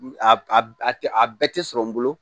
A a tɛ a bɛɛ tɛ sɔrɔ n bolo